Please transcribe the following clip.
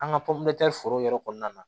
An ka pɔnpe foro yɛrɛ kɔnɔna na